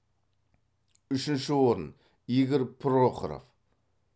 үшінші орын игорь прохоров